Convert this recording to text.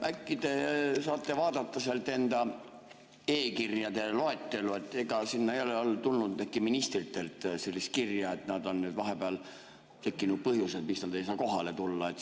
Äkki te saate vaadata enda e‑kirjade loetelu, ega sinna ei ole tulnud ministritelt sellist kirja, et neil on vahepeal tekkinud põhjused, miks nad ei saa kohale tulla?